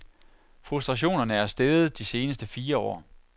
Frustrationerne er steget de seneste fire år.